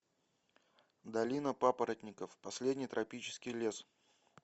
долина папоротников последний тропический лес